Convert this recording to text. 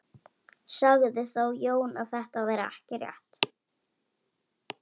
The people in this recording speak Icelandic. Sagði þá Jón að þetta væri ekki rétt.